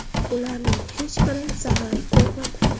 Ularning hech biri zarar ko‘rmadi.